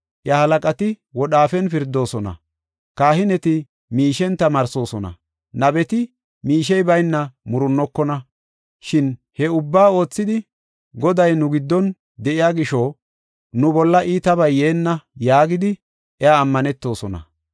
Iya halaqati wodhaafen pirdoosona; kahineti miishen tamaarsoosona; nabeti miishey bayna murunnokona. Shin he ubbaa oothidi, “Goday nu giddon de7iya gisho, nu bolla iitabay yeenna” yaagidi iya ammanetosona.